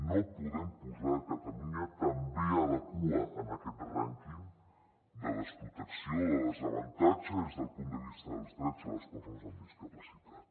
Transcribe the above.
no podem posar catalunya també a la cua en aquest rànquing de desprotecció de desavantatge des del punt de vista dels drets de les persones amb discapacitat